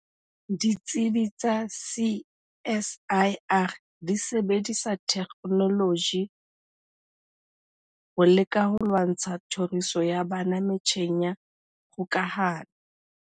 Ditsibi tsa CSIR di sebedisa thekenoloji ho leka ho lwantsha tlhoriso ya bana metjheng ya kgokahano.